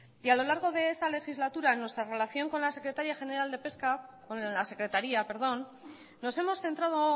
y a lo largo de esta legislatura nuestra relación con la secretaria general de pesca con la secretaría perdón nos hemos centrado